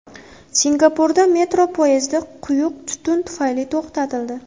Singapurda metro poyezdi quyuq tutun tufayli to‘xtatildi .